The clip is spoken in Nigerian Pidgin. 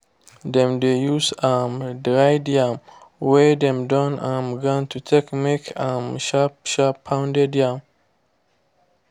dem dey use um dried yam wey dem don um grind to take make um sharp sharp pounded yam